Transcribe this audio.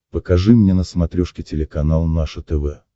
покажи мне на смотрешке телеканал наше тв